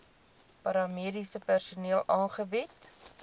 paramediese personeel aangebied